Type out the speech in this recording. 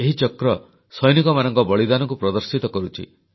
ଏହି ଚକ୍ର ସୈନିକମାନଙ୍କ ବଳିଦାନକୁ ପ୍ରଦର୍ଶିତ କରୁଛି